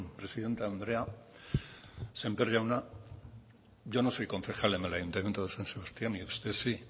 presidente andrea sémper jauna yo no soy concejal en el ayuntamiento de san sebastián y usted sí